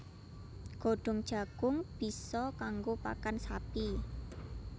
Godhong jagung bisa kanggo pakan sapi